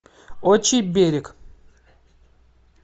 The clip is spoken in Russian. отчий берег